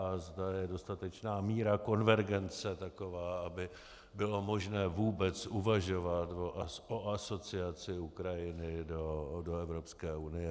A zda je dostatečná míra konvergence taková, aby bylo možné vůbec uvažovat o asociaci Ukrajiny do Evropské unie.